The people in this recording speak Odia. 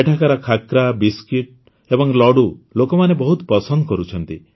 ଏଠାକାର ଖାଖ୍ରା ବିସ୍କୁଟ୍ ଏବଂ ଲଡ଼ୁ ଲୋକମାନେ ବହୁତ ପସନ୍ଦ କରୁଛନ୍ତି